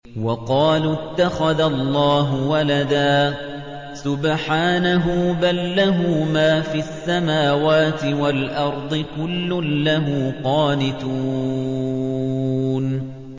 وَقَالُوا اتَّخَذَ اللَّهُ وَلَدًا ۗ سُبْحَانَهُ ۖ بَل لَّهُ مَا فِي السَّمَاوَاتِ وَالْأَرْضِ ۖ كُلٌّ لَّهُ قَانِتُونَ